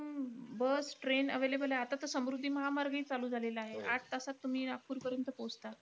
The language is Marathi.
अं bus, train available आहे आता तर समृद्धी महामार्गही चालू झालेला आहे. आठ तासात तुम्ही नागपूरपर्यंत पोहोचता.